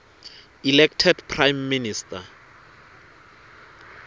elected prime minister